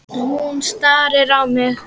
Hún starir á mig.